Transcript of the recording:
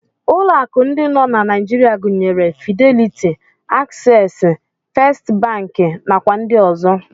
Ụlọ akụ ndị nọ na Naijiria gụnyere Fideliti, Aksesị, Fest bankị, nakwa ndị ọzọ.